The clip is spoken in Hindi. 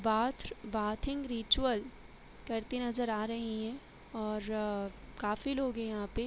बाथ्र- बाथिंग रिचूअल करती नजर आ रही है और काफी लोग है यहाँ पे --